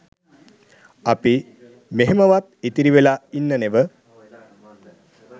අපි මෙහෙමවත් ඉතිරි වෙලා ඉන්න නෙව